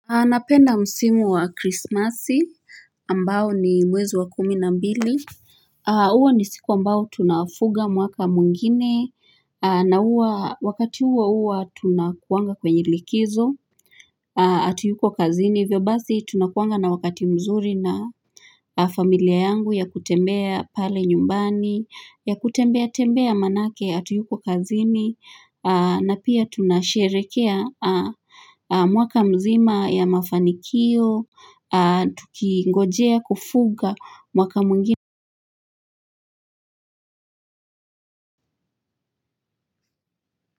Napenda msimu wa krismasi, ambao ni mwezo wa kumi na mbili Uwa ni siku ambao tunafuka mwaka mwingine na wakati huo huwa tunakuanga kwenye likizo Atuyuko kazini, hivyo basi tunakuanga na wakati mzuri na familia yangu ya kutembea pale nyumbani ya kutembea tembea manake, atuyuko kazini na pia tunasherekea mwaka mzima ya mafanikio Tukingojea kufuga mwaka mwingine.